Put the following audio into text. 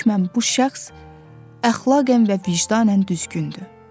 hökmən bu şəxs əxlaqən və vicdanən düzgündür.